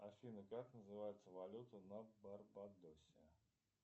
афина как называется валюта на барбадосе